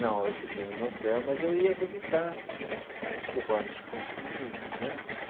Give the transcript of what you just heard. Não, eu fiquei em hotel, mas eu ia visitar os cubanos consegui né.